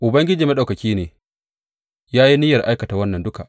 Ubangiji Maɗaukaki ne ya yi niyyar aikata wannan duka.